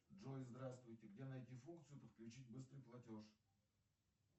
джой здравствуйте где найти функцию подключить быстрый платеж